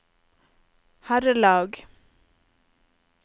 herrelag